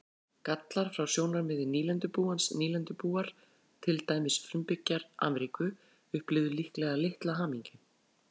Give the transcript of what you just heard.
Gallar frá sjónarmiði nýlendubúans Nýlendubúar, til dæmis frumbyggjar Ameríku, upplifðu líklega litla hamingju.